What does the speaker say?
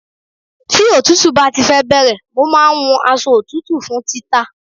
Tí òtútù bá ti fẹ́ bẹ̀rẹ̀, mo máa wun aṣọ òtútù fún títà.